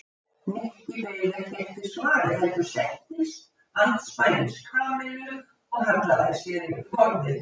Nikki beið ekki eftir svari heldur settist andspænis Kamillu og hallaði sér yfir borðið.